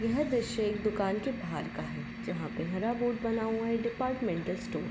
यह दृश्य एक दुकान के बाहर का है। जहाँ पे हरा बोर्ड बना हुआ है डिपार्टमेंटल स्टोर --